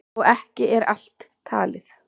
Og ekki er allt talið.